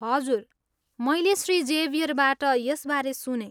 हजुर मैले श्री जेभियरबाट यसबारे सुनेँ।